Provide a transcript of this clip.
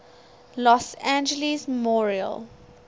los angeles memorial